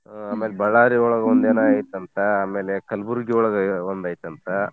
ಆ ಆಮೇಲ್ ಬಳ್ಳಾರಿ ಒಳಗ್ ಒಂದೇನೋ ಐತಂತೆ ಆಮೇಲ್ ಕಲ್ಬುರ್ಗಿ ಒಳಗೆ ಒಂದು ಐತಂತ.